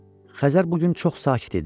Xəzər bu gün çox sakit idi.